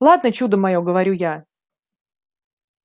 ладно чудо моё говорю я